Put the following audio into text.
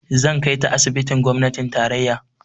Zan kai ta asibitin gwamnatin tarayya.